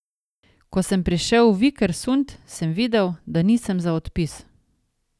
Ko sem prišel v Vikersund, sem videl, da nisem za odpis.